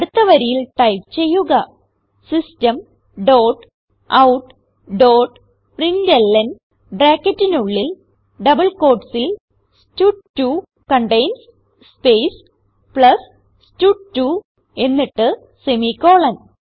അടുത്ത വരിയിൽ ടൈപ്പ് ചെയ്യുക system dot out dot println ബ്രാക്കറ്റിനുള്ളിൽ ഡബിൾ quotesൽ സ്റ്റഡ്2 കണ്ടെയിൻസ് സ്പേസ് പ്ലസ് സ്റ്റഡ്2 എന്നിട്ട് സെമിക്കോളൻ